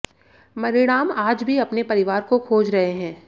मणिराम आज भी अपने परिवार को खोज रहे हैं